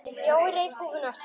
Jói reif húfuna af sér.